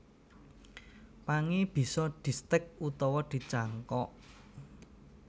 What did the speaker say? Pangé bisa distèk utawa dicangkok